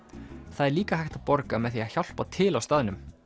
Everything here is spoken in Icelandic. það er líka hægt að borga með því að hjálpa til á staðnum